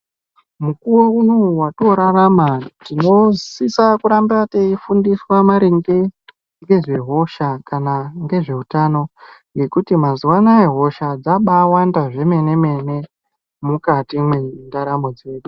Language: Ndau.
Mukuwo unowu watoorarama tinosisa kuramba teifundiswa maringe ngezvehisha kana ngezveutano ngekuti mazuwa anaya hosha dzabaawanda zvemene mene mukati mwendaramo dzedu.